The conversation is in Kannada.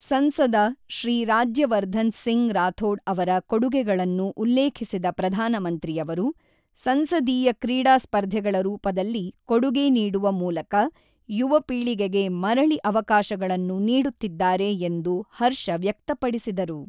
ಸಂಸದ ಶ್ರೀ ರಾಜ್ಯವರ್ಧನ್ ಸಿಂಗ್ ರಾಥೋಡ್ ಅವರ ಕೊಡುಗೆಗಳನ್ನು ಉಲ್ಲೇಖಿಸಿದ ಪ್ರಧಾನಮಂತ್ರಿಯವರು, ಸಂಸದೀಯ ಕ್ರೀಡಾ ಸ್ಪರ್ಧೆಗಳ ರೂಪದಲ್ಲಿ ಕೊಡುಗೆ ನೀಡುವ ಮೂಲಕ ಯುವ ಪೀಳಿಗೆಗೆ ಮರಳಿ ಅವಕಾಶಗಳನ್ನು ನೀಡುತ್ತಿದ್ದಾರೆ ಎಂದು ಹರ್ಷ ವ್ಯಕ್ತಪಡಿಸಿದರು.